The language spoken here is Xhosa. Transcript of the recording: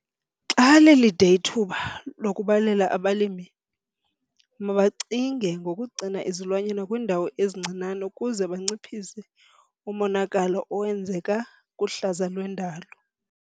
Xa lilide ithuba lokubalela abalimi mabacinge ngokugcina izilwanyana kwiindawo ezincinane ukuze banciphise umonakalo owenzeka kuhlaza lwendalo.